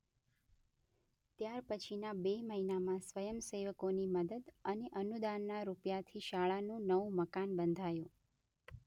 ત્યાર પછી ના બે મહિના માં સ્વયંસેવકોની મદદ અને અનુદાનના રૂપિયા થી શાળા નુ નવુ મકાન બંધાયું